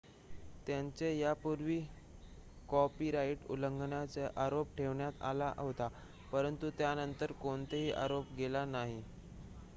त्यांच्यावर यापूर्वीही कॉपीराइट उल्लंघनाचा आरोप ठेवण्यात आला होता परंतु त्यांनतर कोणताही आरोप केला गेला नाही